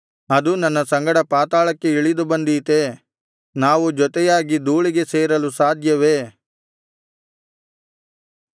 ಅದು ನನ್ನ ಸಂಗಡ ಪಾತಾಳಕ್ಕೆ ಇಳಿದು ಬಂದೀತೇ ನಾವು ಜೊತೆಯಾಗಿ ಧೂಳಿಗೆ ಸೇರಲು ಸಾಧ್ಯವೇ